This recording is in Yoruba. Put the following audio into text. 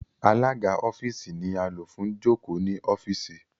Alaga ọfiisi ni a lo fun joko ni ọfiisi